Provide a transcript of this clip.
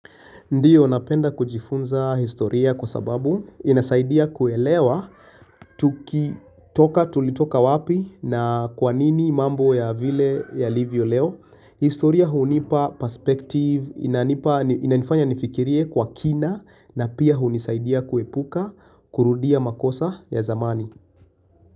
Ndiyo napenda kujifunza historia kwa sababu inasaidia kuelewa tukitoka tulitoka wapi na kwa nini mambo ya vile yalivyo leo. Historia hunipa perspective, inanipa inanifanya nifikirie kwa kina na pia hunisaidia kuepuka kurudia makosa ya zamani.